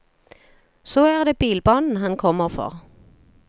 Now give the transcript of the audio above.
Så er det bilbanen han kommer for.